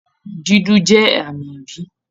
Dúdú jẹ́ àmì ibi